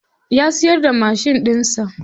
Ya siyar da mashin ɗinsa.